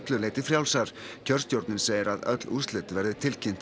kjörstjórnin segir að öll úrslit verði tilkynnt á morgun